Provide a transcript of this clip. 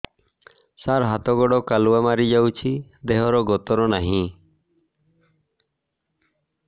ସାର ହାତ ଗୋଡ଼ କାଲୁଆ ମାରି ଯାଉଛି ଦେହର ଗତର ନାହିଁ